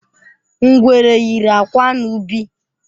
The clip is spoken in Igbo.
Ngwere yiri akwa n’ubi.